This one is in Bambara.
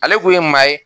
Ale kun ye maa ye